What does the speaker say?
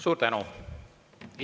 Suur tänu!